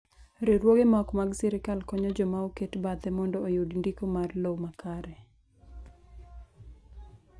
Riwruoge ma ok mag sirkal konyo joma oket bathe mondo oyud ndiko mar lowo ma kare.